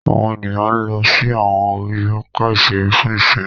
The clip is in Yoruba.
Àwọn ènìyàn ló sì awọn ori papa iṣere fún ìsimi